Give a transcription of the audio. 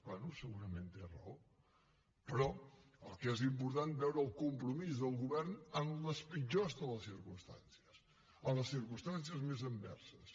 bé segurament té raó però el que és important és veure el compromís del govern en les pitjors de les circumstàncies en les circumstàncies més adverses